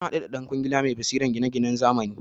Nahadu da dan kwangila mai basiran gina ginan nazamani